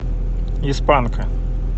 из панка